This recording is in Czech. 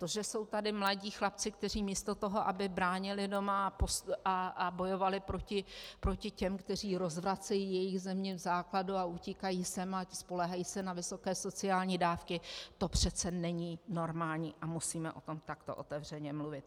To, že jsou tady mladí chlapci, kteří místo toho, aby bránili doma a bojovali proti těm, kteří rozvracejí jejich zemi v základu, a utíkají sem a spoléhají se na vysoké sociální dávky, to přece není normální a musíme o tom takto otevřeně mluvit.